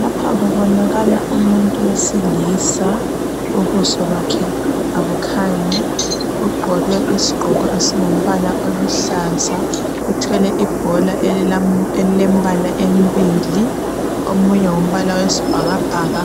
Lapha kubonakala umuntu wesilisa ubuso bakhe abukhanyi ugqoke isigqoko esingumbala oluhlaza uthwele ibhola elilembala embili omunye ngumbala wesibhakabhaka